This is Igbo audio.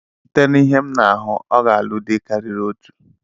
Sị te n'ihe m na ahụ, ọ ga-alụ dị karịrị otu.